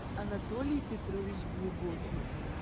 антолий петрович глубокий